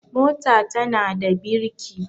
mota tana da birki